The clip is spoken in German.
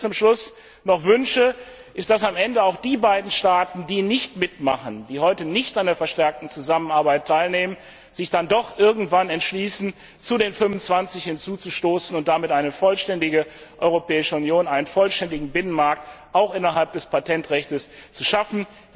Was ich mir zum Schluss noch wünsche, ist, dass am Ende auch die beiden Staaten, die nicht mitmachen, die heute nicht an der verstärkten Zusammenarbeit teilnehmen, sich dann doch irgendwann entschließen, zu den 25 hinzuzustoßen und damit eine vollständige Europäische Union, einen vollständigen Binnenmarkt auch innerhalb des Patentrechts zu schaffen.